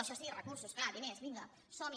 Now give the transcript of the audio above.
això sí recursos clar diners vinga som hi